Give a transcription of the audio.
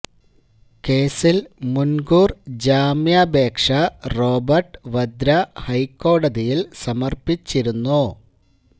കേസില് മുന് കൂര് ജാമ്യാപേക്ഷ റോബര്ട്ട് വദ്ര ഹൈക്കോടതിയില് സമര്പ്പിച്ചിരുന്നു